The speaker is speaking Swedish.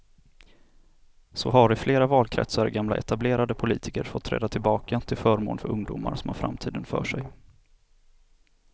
Så har i flera valkretsar gamla etablerade politiker fått träda tillbaka till förmån för ungdomar som har framtiden för sig.